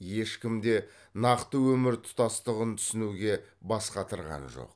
ешкім де нақты өмір тұтастығын түсінуге бас қатырған жоқ